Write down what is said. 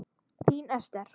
Þín Ester.